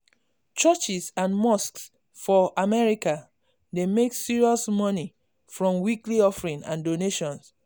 churches and mosques for america dey make serious money from weekly offering and donation.